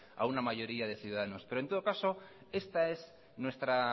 a una mayoría de ciudadanos pero en todo caso esta es nuestra